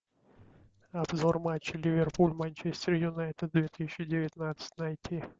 обзор матча ливерпуль манчестер юнайтед две тысячи девятнадцать найти